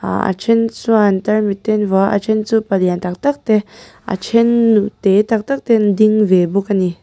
a then chuan tarmit te an vuah a a then chu palian tak tak te a then nu te tak tak te an ding ve bawk ani.